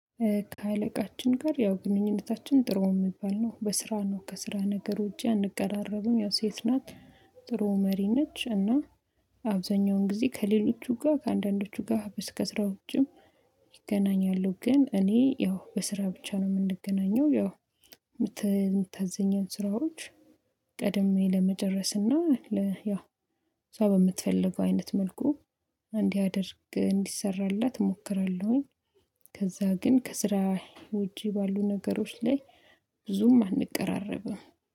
ከአለቃችን ጋር ያው ግንኙነታችን ጥሩ የሚባል ነው። በስራ ነው ከስራ ነገር ውጪ አንቀራረብም፤ ያው ሴት ናት ጥሩ መሪ ነች። እና አብዛኛውን ጊዜ ከሌሎቹ ጋር ከአንዳንዶቹ ጋር በስ ከስራ ውጪም ይገናኛሉ፤ ግን እኔ ያው በስራ ብቻ ነው የምንገናኘው። ያው የምታዘኝን ስራዎች ቀድሜ ለመጨረስ እና ለ ያው እሷ በምትፈልገው አይነት መልኩ እንዲያደርግ እንዲሰራላት እሞክራለሁኝ። ከዛ ግን ከስራ ውጪ ባሉ ነገሮች ላይ ብዙም አንቀራረብም።